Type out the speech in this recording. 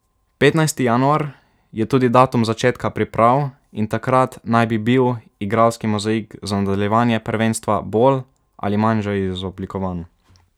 Petnajsti januar je tudi datum začetka priprav in takrat naj bi bil igralski mozaik za nadaljevanje prvenstva bolj ali manj že izoblikovan.